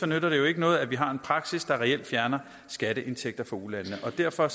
nytter det jo ikke noget at vi har en praksis der reelt fjerner skatteindtægter fra ulandene og derfor